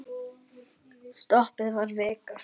Stoppið var vika.